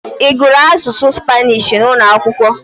Ị gụrụ asụsụ Spanish n'ụlọ akwụkwọ?